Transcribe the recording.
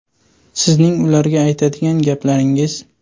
Sizning ularga aytadigan gaplaringiz?